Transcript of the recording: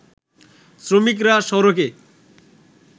শ্রমিকরা সড়কে